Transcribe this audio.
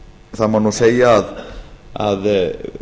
það má segja að